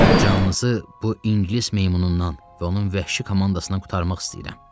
Canınızı bu ingilis meymunundan və onun vəhşi komandasına qurtarmaq istəyirəm.